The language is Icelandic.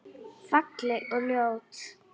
Falleg og ljót.